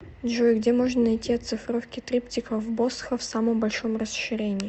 джой где можно найти оцифровки триптихов босха в самом большом расширении